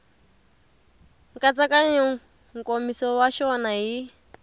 nkatsakanyo nkomiso wa xona hi